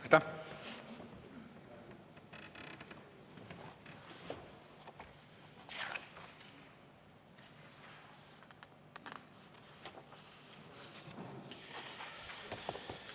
Aitäh!